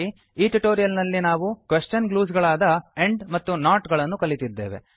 ಈ ಟ್ಯುಟೋರಿಯಲ್ ನಲ್ಲಿ ನಾವು ಕ್ವೆಶ್ಚನ್ ಗ್ಲೂಸ್ ಗಳಾದ ಆಂಡ್ ಮತ್ತು ನಾಟ್ ಅನ್ನು ಕಲಿತಿದ್ದೇವೆ